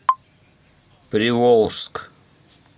приволжск